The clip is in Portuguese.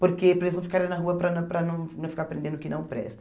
Porque para eles não ficarem na rua para não para não ficar aprendendo o que não presta.